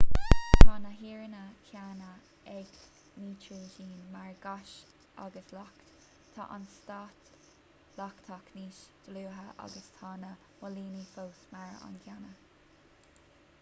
tá na hairíonna céanna ag nítrigin mar ghás agus leacht tá an stát leachtach níos dlúithe ach tá na móilíní fós mar an gcéanna